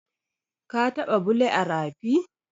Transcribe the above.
Ka taɓa bule a rafi?